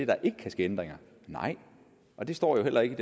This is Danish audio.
der ikke kan ske ændringer nej og det står jo heller ikke i